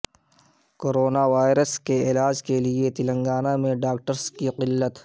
corona virus کے علاج کیلئے تلنگانہ میں ڈاکٹرس کی قلت